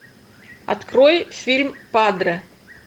открой фильм падре